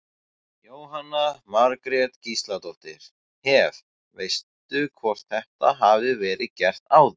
Jóhanna Margrét Gísladóttir: Hef, veistu hvort þetta hafi verið gert áður?